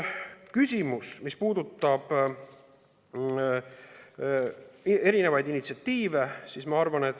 Küsimus, mis puudutab erinevaid initsiatiive.